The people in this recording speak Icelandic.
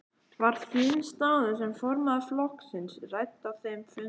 Var þín staða sem formaður flokksins rædd á þeim fundi?